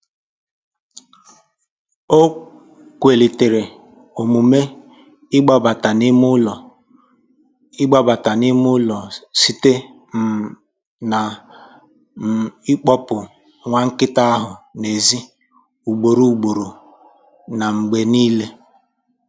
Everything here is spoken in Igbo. Ọ kwalitere omume ịgbabata n'ime ụlọ ịgbabata n'ime ụlọ site um na um ịkpọpụ nwa nkịta ahụ n'èzí ugboro ugboro na mgbe niile